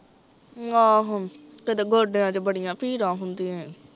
ਆਹੋ, ਕਿਤੇ ਗੋਡਿਆਂ ਚ ਬੜੀਂਆ ਪੀੜਾਂ ਹੁੰਦੀਆਂ ਐ